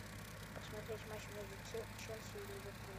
посмотреть матч между челси и ливерпулем